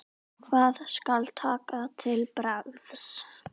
Hvað skal taka til bragðs?